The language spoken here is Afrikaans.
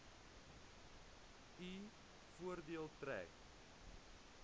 u voordeel trek